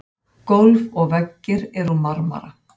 gólf og veggir eru úr marmara